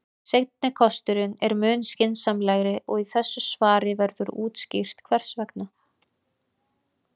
Seinni kosturinn er mun skynsamlegri og í þessu svari verður útskýrt hvers vegna.